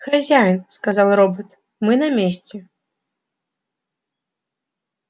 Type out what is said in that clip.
хозяин сказал робот мы на месте